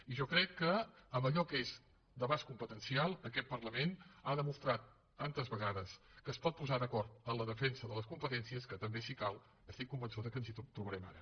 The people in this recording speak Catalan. i jo crec que en allò que és d’abast competencial aquest parlament ha demostrat tantes vegades que es pot posar d’acord en la defensa de les competències que també si cal estic convençuda que ens hi trobarem ara